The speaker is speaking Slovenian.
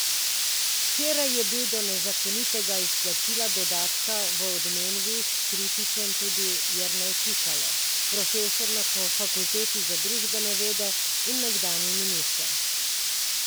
Včeraj je bil do nezakonitega izplačila dodatka v Odmevih kritičen tudi Jernej Pikalo, profesor na fakulteti za družbene vede in nekdanji minister.